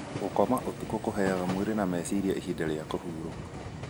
Gũkoma ũtukũ kũheaga mĩĩrĩ na meciria ihinda rĩa kũhurũka.